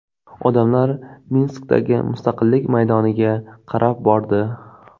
Odamlar Minskdagi Mustaqillik maydoniga qarab bordi.